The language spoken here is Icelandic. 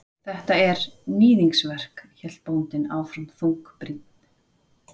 Þetta er. níðingsverk, hélt bóndinn áfram þungbrýnn.